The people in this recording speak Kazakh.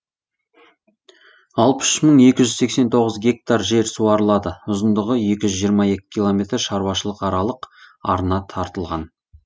алпыс үш мың екі жүз сексен тоғыз гектар жер суарылады ұзындығы екі жүз жиырма екі километр шаруашылық аралық арна тартылған